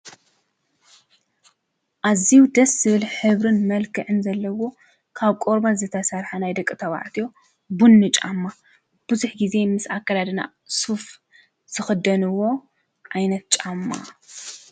ኣዝዩ ደስ ዝብል ሕብሪን መልክዕን ዘለዎ ካብ ቆርበት ዝተሰርሐ ናይ ደቂ ተባዕትዮ ቡኒ ጫማ ብዙሕ ግዜ ምስ ኣከዳድና ስፉ ዝክደንዎ ዓይነት ጫማ።